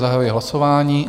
Zahajuji hlasování.